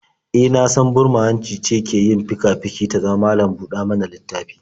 E, na san burma-hanci ce ke yin fika-fiki ta zama malam-ɗa-mana-littafi?